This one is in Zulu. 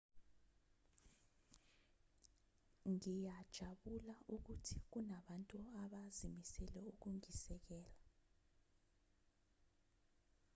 ngiyajabula ukuthi kunabantu abazimisele ukungisekela